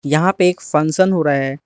यहां पे एक फंक्शन हो रहा है।